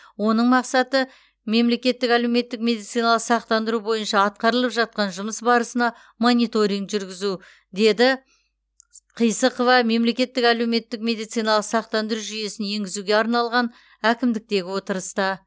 оның мақсаты мемлекеттік әлеуметтік медициналық сақтандыру бойынша атқарылып жатқан жұмыс барысына мониторинг жүргізу деді қисықова мемлекеттік әлеуметтік медициналық сақтандыру жүйесін енгізуге арналған әкімдіктегі отырыста